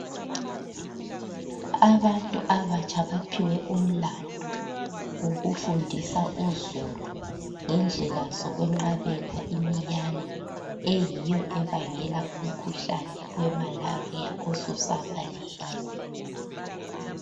Abantu abatsha baphiwe umlandu wokufundisa uzulu ngendlela zokwenqabela imiyane, eyiyo ebangela umkhuhlane we Malaria osusabalele.